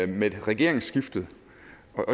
med regeringsskiftet